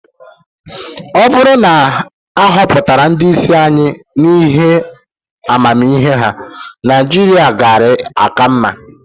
Ọ bụrụ na a họpụtara ndị isi anyị n'ihi amamihe ha, Naịjirịa gaara -aka mma.